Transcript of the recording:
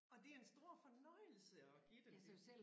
Og det en stor fornøjelse at give dem det